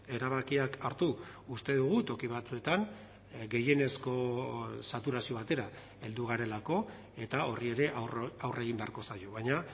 erabakiak hartu uste dugu toki batzuetan gehienezko saturazio batera heldu garelako eta horri ere aurre egin beharko zaio baina